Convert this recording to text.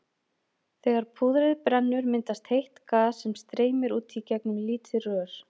Þegar púðrið brennur myndast heitt gas sem streymir út í gegnum lítið rör.